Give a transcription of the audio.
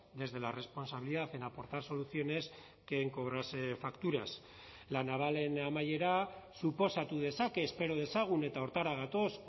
desde la responsabilidad en aportar soluciones que en cobrarse facturas la navalen amaiera suposatu dezake espero dezagun eta horretara gatoz